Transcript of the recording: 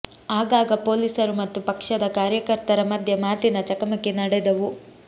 ಆಗಾಗ ಪೊಲೀಸರು ಮತ್ತು ಪಕ್ಷ ದ ಕಾರ್ಯಕರ್ತರ ಮಧ್ಯೆ ಮಾತಿನ ಚಕಮಕಿ ನಡೆದವು